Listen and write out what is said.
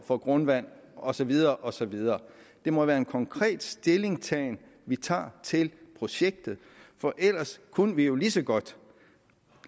for grundvandet og så videre og så videre det må være en konkret stillingtagen vi tager til projektet for ellers kunne vi jo lige så godt